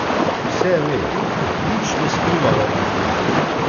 Vse ve, nič ne skrivava pred njim.